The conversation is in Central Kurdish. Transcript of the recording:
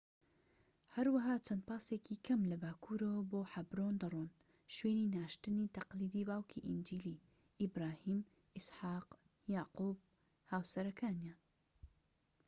هەروەها چەند پاسێکی کەم لە باکوورەوە بۆ حەبرۆن دەڕۆن ،شوێنی ناشتنی تەقلیدی باوکی ئینجیلی، ئیبراهیم، ئیسحاق، یاقوب و هاوسەرەکانیان